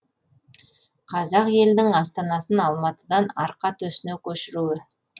қазақ елінің астанасын алматыдан арқа төсіне көшіруі